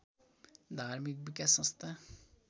धार्मिक विकास संस्था